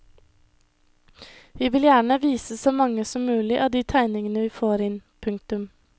Vi vil gjerne vise så mange som mulig av de tegningene vi får inn. punktum